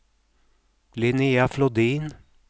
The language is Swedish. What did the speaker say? Linnéa Flodin